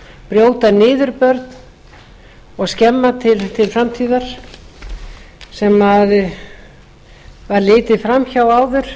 brjóta niður börn og skemma til framtíðar sem var litið fram hjá áður